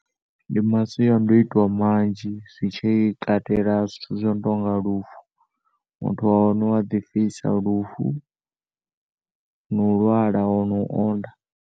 Ndi masiandoitwa manzhi zwitshi katela zwithu zwino tonga lufu. Muthu wa hone wa ḓipfisa lufu no lwala lwo onda.